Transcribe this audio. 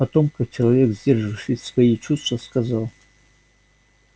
потом как человек сдерживающий свои чувства сказал